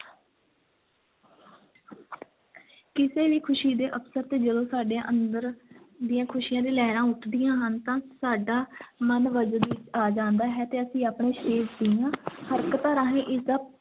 ਕਿਸੇ ਵੀ ਖ਼ੁਸ਼ੀ ਦੇ ਅਵਸਰ 'ਤੇ ਜਦੋਂ ਸਾਡੇ ਅੰਦਰ ਦੀਆਂ ਖ਼ੁਸ਼ੀਆਂ ਦੀਆਂ ਲਹਿਰਾਂ ਉੱਠਦੀਆਂ ਹਨ ਤਾਂ ਸਾਡਾ ਮਨ ਵਜਦ ਆ ਜਾਂਦਾ ਹੈ ਤੇ ਅਸੀਂ ਆਪਣੇ ਸਰੀਰ ਦੀਆਂ ਹਰਕਤਾਂ ਰਾਹੀਂ ਇਸ ਦਾ